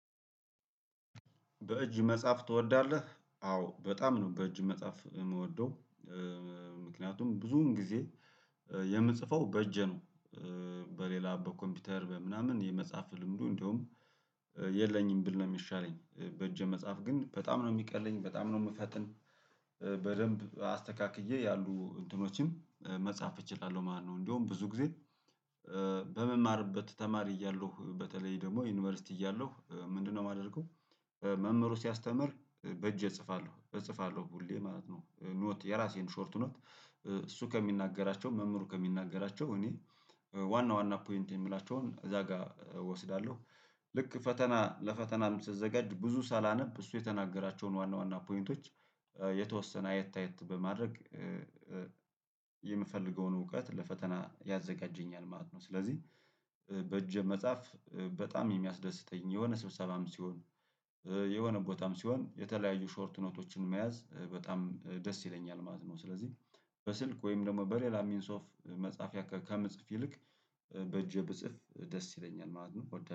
በእጅ መጽሐፍ ትወዳለህ አዎ በጣም ነው በእጅ መጽሐፍ የምወደው ምክንያቱም ብዙውን ጊዜ የምጽፈው በእጅ ነው። በሌላ በኮምፒውተር በምናምን የመጻፍ ልምዱ እንደውም የለኝም ብል ነው የሚሻለኝ በእጄ መጻፍ ግን በጣም ነው የሚቀለኝ በጣም ነው የምፈጥን። በደንብ አስተካክዬ ያሉ እንትኖችም መጻፍ እችላለሁ ማለት ነው። እንደውም ብዙ ጊዜ በምማርበት ተማሪ እያለሁ በተለይ ደግሞ ዩኒቨርሲቲ እያለሁ ምንድነው የማደርገው? መምህሩ ሲያስተምር በእጄ እጽፋለሁ እጽፋለሁ ሁሌ ማለት ነው ኖት የራሴን ሾርት ኖት። ከሚናገራቸው መምህሩ ከሚናገራቸው እኔ ዋና ዋና ፖይንት የምላቸውን እዛ ጋር እወስዳለሁ። ልክ ፈተና ለፈተና ስዘጋጅ ብዙ ሳላነብ እሱ የተናገራቸውን ዋና ዋና ፖይንቶች የተወሰነ አየት አየት በማድረግ። የምፈልገውን እውቀት ለፈተና ያዘጋጀኛል ማለት ነው። ስለዚህ በእጅ መጻፍ በጣም የሚያስደስተኝ የሆነ ስብሰባም ሲሆን የሆነ ቦታም ሲሆን የተለያዩ ሾርት ኖቶችን መያዝ በጣም ደስ ይለኛል ማለት ነው። ስለዚህ በስልክ ወይም ደግሞ በሌላ ሚንስ ኦፍ መጻፍ ከምጽፍ ይልቅ በእጄ ብጽፍ ደስ ይለኛል ማለት ነው